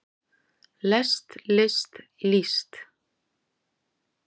lest list líst